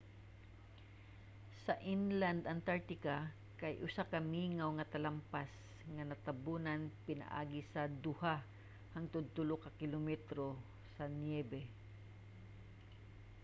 sa inland antartica kay usa ka mingaw nga talampas nga natabunan pinaagi sa 2-3 ka kilometro sa niyebe